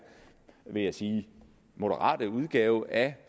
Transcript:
vil jeg sige moderate udgave af